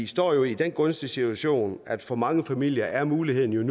står i den gunstige situation at for mange familier er muligheden